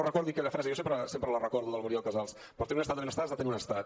recordi aquella frase jo sempre la recordo de la muriel casals per fer un estat de benestar has de tenir un estat